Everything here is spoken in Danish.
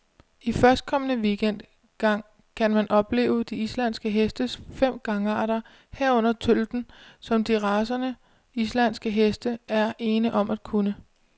I førstkommende weekend gang kan man opleve de islandske hestes fem gangarter, herunder tølten, som de racerene, islandske heste er ene om at kunne.